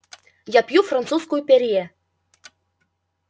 я пью французскую перье